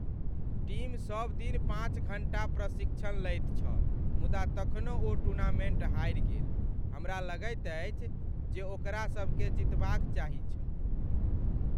Team सबदिन पाँच घण्टा प्रशिक्षण लैत छल मुदा तखनहुँ ओ टूर्नामेन्ट हारि गेल। हमरा लगैत अछि जे ओकरा सबकेँ जितबाक चाही छल।